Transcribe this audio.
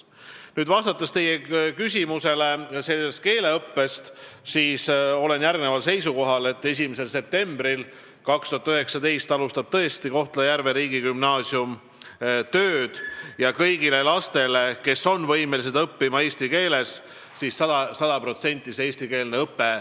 Vastates teie küsimusele keeleõppe kohta, ütlen, et olen seisukohal, et 1. septembril 2019 alustab tõesti Kohtla-Järve riigigümnaasium tööd ja kõigile lastele, kes on võimelised õppima eesti keeles, tuleb võimaldada sada protsenti eestikeelne õpe.